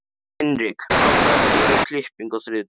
Hinrik, pantaðu tíma í klippingu á þriðjudaginn.